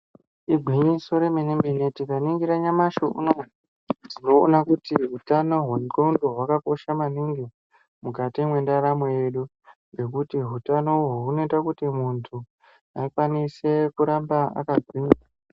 Igwinyiso remene-mene tikaningira nyamashi unoo tinoona kuti hutano hwendxondo hwakakosha maningi mukati mwendaramo yedu ngekuti hutano uhwu hunoita kuti muntu akwanise kuramba akagwinya.